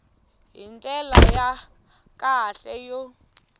hi ndlela ya kahle yo